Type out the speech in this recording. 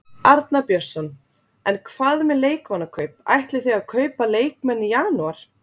Arnar Björnsson: En hvað með leikmannakaup, ætlið þið að kaupa leikmenn í janúar?